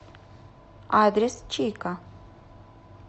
адрес чика